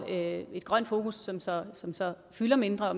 et grønt fokus som så som så fylder mindre